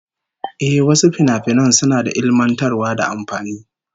Ehh, wasu finafinan suna da ilmantarwa da amfani